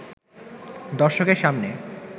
দর্শকের সামনে